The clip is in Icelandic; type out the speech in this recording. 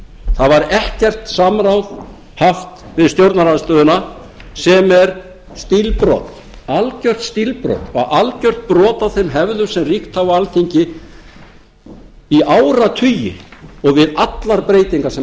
það var ekkert samráð haft við stjórnarandstöðuna sem er stílbrot algjört stílbrot og algjört brot á þeim hefðum sem hafa ríkt á alþingi í áratugi og við allar breytingar sem hafa verið gerðar